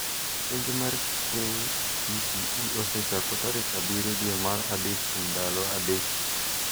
Penj mar KCPE osechako tarik abiriyo dwe mar adek kuom ndalo adek